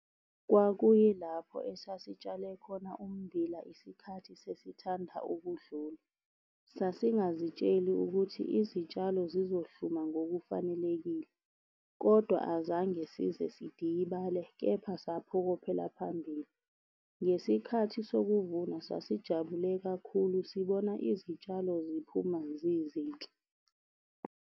Kwakuyilapho esasitshale khona ummbila isikhathi sesithanda ukudlula. Sasingazitsheli ukuthi izitshalo zizohluma ngokufanelekile, kodwa azange size sidikibale, kepha saphokophela phambili. Ngesikhathi sokuvuna, sasijabule kakhulu sibona izitshalo ziphuma zizinhle.